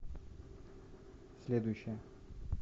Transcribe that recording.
следующая